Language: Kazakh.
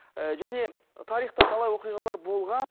ы және тарихта талай оқиғалар болған